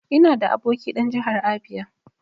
Ina da aboki dan Jahar Abia.